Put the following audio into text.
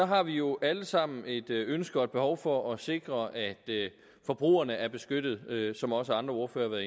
har vi jo alle sammen et ønske om og et behov for at sikre at forbrugerne er beskyttet som også andre ordførere